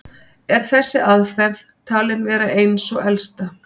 Er þessi aðferð talin vera ein sú elsta.